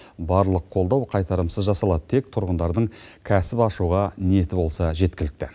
барлық қолдау қайтарымсыз жасалады тек тұрғындардың кәсіп ашуға ниеті болса жеткілікті